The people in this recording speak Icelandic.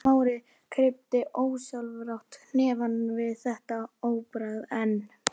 Smári kreppti ósjálfrátt hnefann við þetta orðbragð en